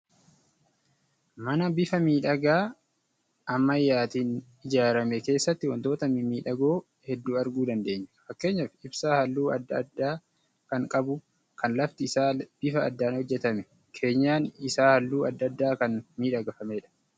Mana bifa miidhagaa gi ammayyaatiin ijaarame keessatti wantoota mimmiidhagok heduu arguu dandeenya. Fakkeenyaaf ibsaa halluu adda addaa kan qabu, kan lafti isaa bifa addaan hojjetame, keenyan isaa halluu adda addaan kan miidhagfamedha.